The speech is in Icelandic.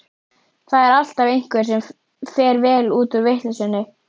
Það er alltaf einhver sem fer vel út úr vitleysunni.